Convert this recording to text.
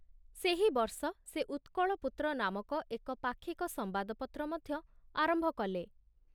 ସେହି ବର୍ଷ ସେ ଉତ୍କଳପୁତ୍ର ନାମକ ଏକ ପାକ୍ଷିକ ସମ୍ବାଦପତ୍ର ମଧ୍ୟ ଆରମ୍ଭ କଲେ।